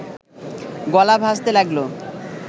গলা ভাঁজতে লাগল